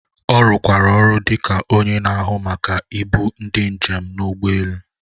Ọ rụkwara ọrụ dị ka onye na-ahụ maka ibu ndi njem n’ụgbọ elu.